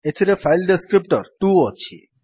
ଏଥିରେ file descriptor 2 ଅଛି